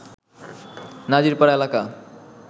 নাজির পাড়া এলাকা